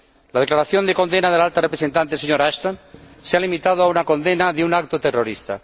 La declaración de condena de la Alta Representante, señora Ashton, se ha limitado a una condena de un acto terrorista.